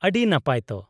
-ᱟᱹᱰᱤ ᱱᱟᱯᱟᱭ ᱛᱚ ᱾